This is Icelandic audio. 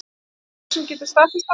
Einhver sem getur staðfest það?